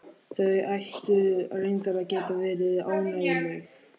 Þau ættu reyndar að geta verið ánægjuleg.